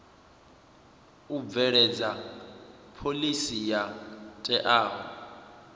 u bveledza phoḽisi yo teaho